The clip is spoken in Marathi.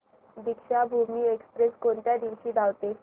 दीक्षाभूमी एक्स्प्रेस कोणत्या दिवशी धावते